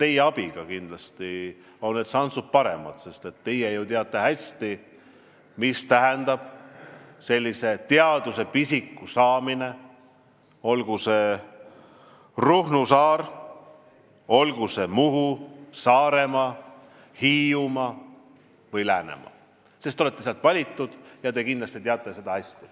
Teie abiga on need šansid kindlasti paremad, sest teie ju teate hästi, mida tähendab teadusepisiku saamine olgu siis Ruhnu või Muhu saarel, Saaremaal, Hiiumaal või Läänemaal, sest te olete sealt valitud.